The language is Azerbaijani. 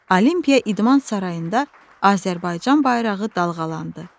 Olimpiya idman sarayında Azərbaycan bayrağı dalğalandı.